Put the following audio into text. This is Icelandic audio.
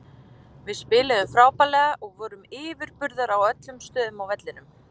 Við spiluðum frábærlega og vorum yfirburðar á öllum stöðum á vellinum.